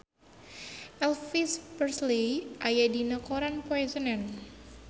Elvis Presley aya dina koran poe Senen